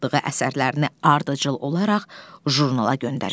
aldığı əsərlərini ardıcıl olaraq jurnala göndərir.